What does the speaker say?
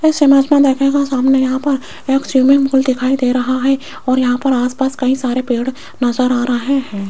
इस इमेज में देखिएगा सामने यहां पर एक स्विमिंग पूल दिखाई दे रहा है और यहां पर आसपास कई सारे पेड़ नजर आ रहा है।